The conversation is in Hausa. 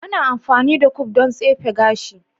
Ana amfani da comb don tsefe gashi.